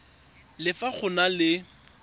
le fa go na le